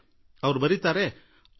iಟಿನಲ್ಲಿ ಶಿಖರ್ ಠಾಕೂರ್ ಬರೆದಿದ್ದಾರೆ